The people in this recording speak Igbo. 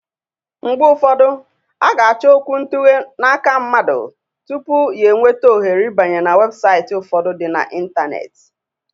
Mgbe ufọdụ, a ga-achọ okwuntughe n'aka mmadụ tupu ya enweta ohere ibanye n'webụsaiti ufọdụ dị na intaneeti.